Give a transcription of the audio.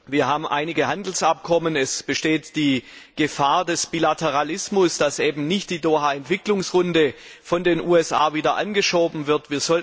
Wir haben einige Handelsabkommen, es besteht die Gefahr des Bilateralismus, dass eben die Doha Entwicklungsrunde von den USA nicht wieder aufgenommen wird.